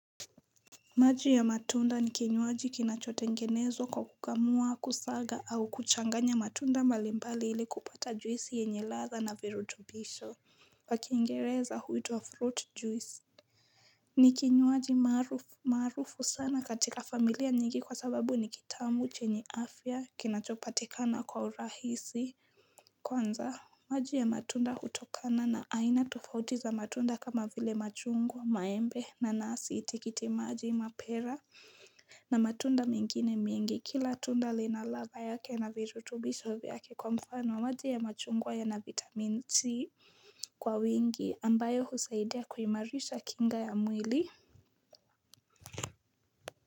Maji ya matunda ni kinywaji kinachotengenezwa kwa kukamua kusaga au kuchanganya matunda mbalimbali ili kupata juisi yenye ladha na virutubisho kwa kingereza huitwa fruit juice ni kinywaji maarufu sana katika familia nyingi kwa sababu ni kitamu chenye afya kinachopatikana kwa urahisi Kwanza maji ya matunda hutokana na aina tofauti za matunda kama vile machungwa maembe nanasi tikiti maji mapera na matunda mengine mengi kila tunda lina ladha yake na virutubisho vyake kwa mfano maji ya machungwa yana vitamin C kwa wingi ambayo husaidia kuimarisha kinga ya mwili.